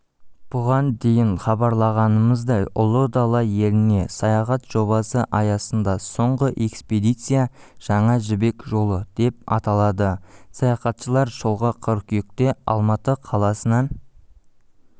бұған дейін хабарлағанымыздай ұлы дала еліне саяхат жобасы аясында соңғы экспедиция жаңа жібек жолы деп аталады саяхатшылар жолға қыркүйекте алматы қаласынан